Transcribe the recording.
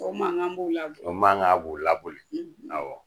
O makan b'u laboli? O makan b'u laboli awa.